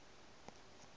ngwako e be e le